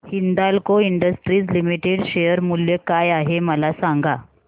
Hindalco industries limited share मूल्य काय आहे मला सांगा